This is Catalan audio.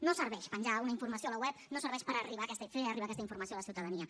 no serveix penjar una informació a la web no serveix per fer arribar aquesta informació a la ciutadania